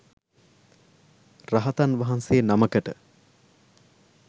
රහතන් වහන්සේ නමකට